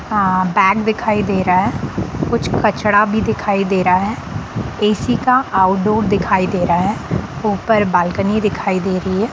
हां बैग दिखाई दे रहा है कुछ कचरा भी दिखाई दे रहा हैए_सी का आउटडोर दिखाई दे रहा है ऊपर बालकनी दिखाई दे रही है।